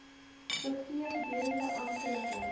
gegee gedurende amptelike